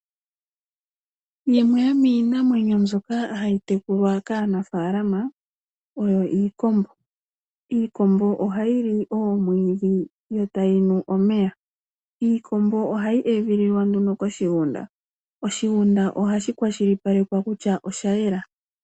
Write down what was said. Yimwe yomiinamwenyi mbyoka hayi tekulwa kaanafalama oyo iikombo. Iikombo ohayi li oomwiidhi yo tayi nu omeya. Iikombo ohayi edhililwa nduno koshigunda. Oshigunda ohashi kwashilipalekwa kutya oshayela.